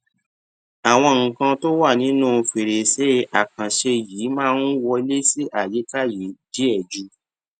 àwọn nǹkan tó wà nínú fèrèsé àkànṣe yìí máa ń wọlé sí àyíká yìí díẹ ju